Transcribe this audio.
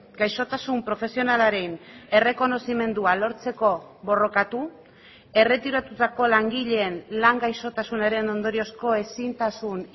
gaixotasun profesionalaren errekonozimendua lortzeko borrokatu erretiratutako langileen lan gaixotasunaren ondoriozko ezintasun